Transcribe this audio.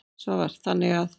Svavar: Þannig að.